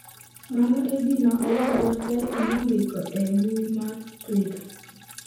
Mano e gima owadwa Taji nondiko e mbui mar Twitter.